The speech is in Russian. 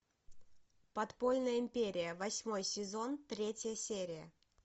подпольная империя восьмой сезон третья серия